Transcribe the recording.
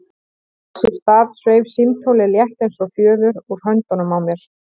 Þess í stað sveif símtólið, létt eins og fjöður, úr höndunum á mér.